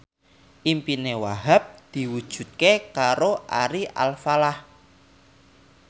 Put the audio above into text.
impine Wahhab diwujudke karo Ari Alfalah